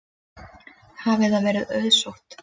Hafi það verið auðsótt.